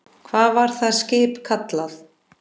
Hvað var það skip kallað?